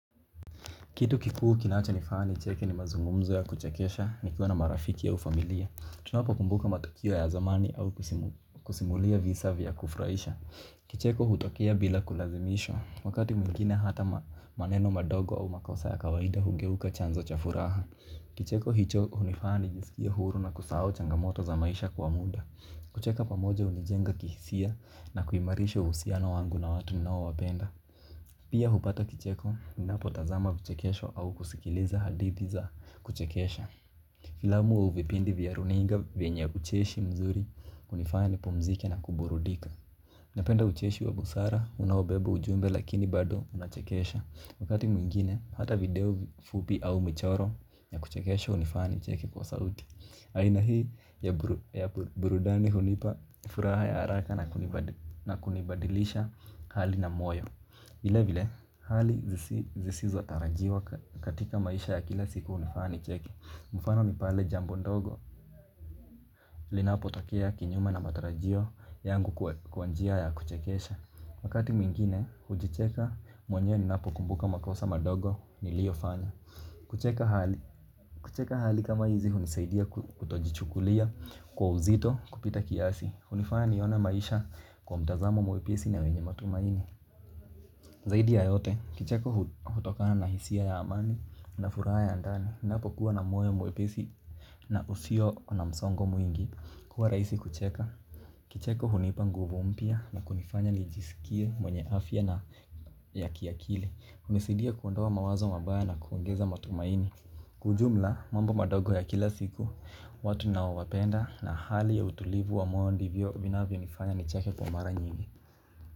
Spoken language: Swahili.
Kitu kikuu kinachonifanya nicheke ni mazungumzo ya kuchekesha nikiwa na marafiki au familia. Tunapo kumbuka matukio ya zamani au kusimulia visa vya kufuraisha. Kicheko hutokea bila kulazimishwa. Wakati mwingine hata maneno madogo au makosa ya kawaida hugeuka chanzo cha furaha. Kicheko hicho hunifanya nijisikie huru na kusahau changamoto za maisha kwa muda. Kucheka pamoja hunijenga kihisia na kuimarisha uhusiano wangu na watu ninao wapenda. Pia hupata kicheko ninapotazama vichekesho au kusikiliza hadithi za kuchekesha. Filamu au vipindi vya runinga vyenye ucheshi mzuri hunifanya nipumzike na kuburudika. Napenda ucheshi wa busara unaobeba ujumbe lakini bado unachekesha. Wakati mwingine hata video fupi au michoro ya kuchekesho hunifanya nicheke kwa sauti. Aina hii ya burudani hunipa furaha ya haraka na kunibadilisha hali na moyo. Vile vile, hali zisizo tarajiwa katika maisha ya kila siku hunifanya nicheke. Mfano ni pale jambo ndogo, linapotokea kinyume na matarajio yangu kwa njia ya kuchekesha. Wakati mwiingine, hujicheka mwanyewe ninapokumbuka makosa madogo niliyofanya. Kucheka hali, kucheka hali kama hizi hunisaidia kutojichukulia kwa uzito kupita kiasi. Hunifanya nione maisha kwa mtazamo mwepesi na wenye matumaini. Zaidi ya yote, kicheko hutokana na hisia ya amani na furaha ya andani. Napokuwa na moyo mwepesi na usio na msongo mwingi kuwa rahisi kucheka. Kicheko hunipa nguvu mpya na kunifanya nijisikie mwenye afya na ya kiakili hunisaidia kuondoa mawazo mabaya na kuongeza matumaini. Kwa ujumla, mambo madogo ya kila siku, watu naowapenda na hali ya utulivu wa moyo ndivyo vinavyonifanya nicheke kwa mara nyingi.